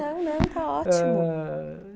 Não, não, está ótimo.